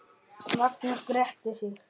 Magnús gretti sig.